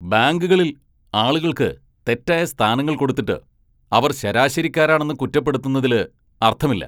ബാങ്കുകളിൽ ആളുകൾക്ക് തെറ്റായ സ്ഥാനങ്ങൾ കൊടുത്തിട്ട് അവർ ശരാശരിക്കാരാണെന്ന് കുറ്റപ്പെടുത്തുന്നതില് അർത്ഥമില്ല.